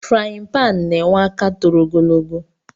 Friyi pan na enwe aka toro ogologo